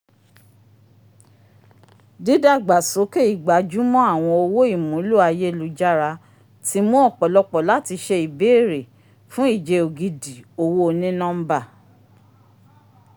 didagba sókè igba jumọ awọn owó ìmúlò ayélujára ti mu ọpọlọpọ lati ṣe ìbéèrè fún ìje ògidì owó oni-nọmba